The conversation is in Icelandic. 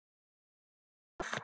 Blaðra hvað?